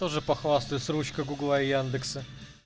тоже похвастаюсь ручка гугла и яндекса